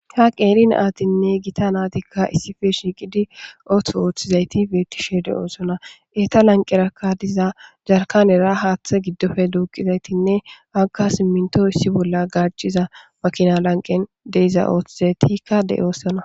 Ha qeeri natinne Gita natika issippe shiqid ooso otizayti betishe dosona. Eta lanqeraka diza yarkanera hathe gidope duqizaytinne haraka siminto issi bolla gaciza makina lanqen de'za othizaytika de'osona.